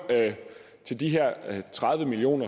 til de her tredive million